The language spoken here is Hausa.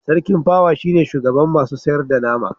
sarkin pawa shi ne shugaban masu sayar da nama